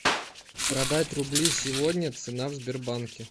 продать рубли сегодня цена в сбербанке